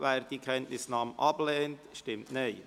wer die Kenntnisnahme ablehnt, stimmt Nein.